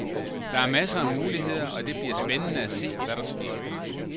Der er masser af muligheder, og det bliver spændende at se, hvad der sker.